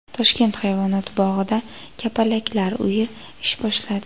Toshkent hayvonot bog‘ida Kapalaklar uyi ish boshladi.